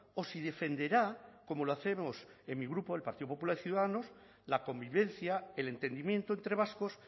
o si defenderá como lo hacemos en mi grupo el partido popular y ciudadanos la convivencia el entendimiento entre vascos